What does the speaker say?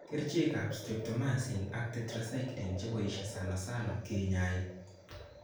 Kerchek ap streptomycin ak tetracycline chepoishe sanasana kenyai